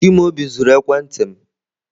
Chimaobi zuru ekwentị m.